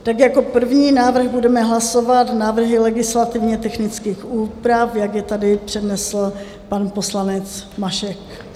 Tak jako první návrh budeme hlasovat návrhy legislativně-technických úprav, jak je tady přednesl pan poslanec Mašek.